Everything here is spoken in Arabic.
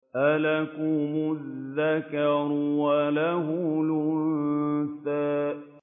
أَلَكُمُ الذَّكَرُ وَلَهُ الْأُنثَىٰ